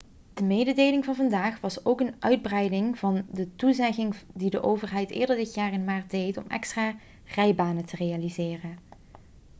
de mededeling van vandaag was ook een uitbreiding van de toezegging die de overheid eerder dit jaar in maart deed om extra rijbanen te realiseren